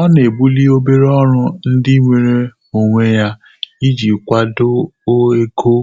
Ọ́ nà-ébùlí óbèré ọ́rụ́ ndị́ nwèrè ónwé yá ìjí kwàdò égo